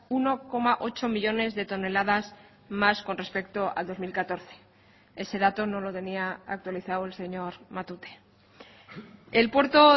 uno coma ocho millónes de toneladas más con respecto al dos mil catorce ese dato no lo tenía actualizado el señor matute el puerto